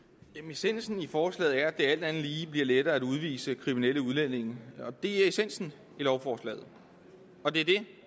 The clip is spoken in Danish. essensen i forslaget er at det alt andet lige bliver lettere at udvise kriminelle udlændinge det er essensen i lovforslaget og det